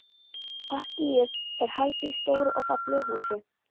Partíið er haldið í stóru og fallegu húsi.